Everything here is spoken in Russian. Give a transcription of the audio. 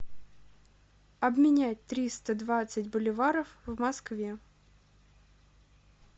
обменять триста двадцать боливаров в москве